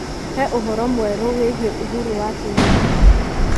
He ũhoro mwerũ wĩgiĩ uhuru wa Kenyatta.